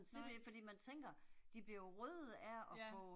Nej. Ja